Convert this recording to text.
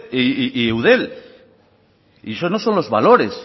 y eudel y eso no son los valores